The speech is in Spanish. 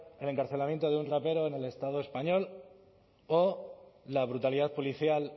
el encarcelamiento de un rapero en el español o la brutalidad policial